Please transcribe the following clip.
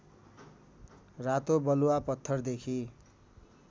रातो बलुआपत्थरदेखि